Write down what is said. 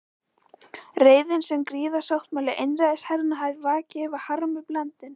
Reiðin, sem griðasáttmáli einræðisherranna hafði vakið, var harmi blandin.